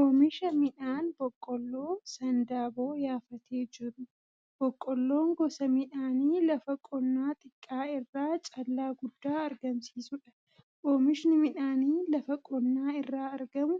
Oomisha midhaan Boqqolloo sandaaboo yaafatee jiru. Boqqolloon gosa midhaanii lafa qonnaa xiqqaa irraa callaa guddaa argamsiisudha. Oomishni midhaanii lafa qonnaa irraa argamu